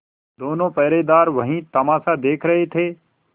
दोनों पहरेदार वही तमाशा देख रहे थे